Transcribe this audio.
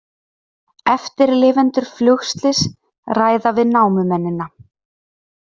Eftirlifendur flugslyss ræða við námumennina